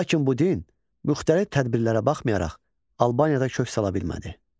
Lakin bu din müxtəlif tədbirlərə baxmayaraq Albaniyada kök sala bilmədi.